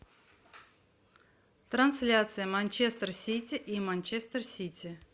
трансляция манчестер сити и манчестер сити